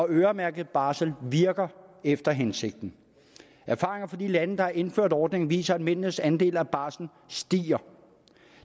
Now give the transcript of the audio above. øremærket barsel virker efter hensigten erfaringer fra de lande der har indført ordningen viser at mændenes andel af barslen stiger